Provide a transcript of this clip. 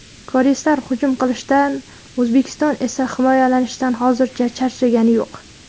Koreyslar hujum qilishdan O‘zbekiston esa himoyalanishdan hozircha charchagani yo‘q.